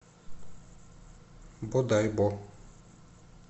бодайбо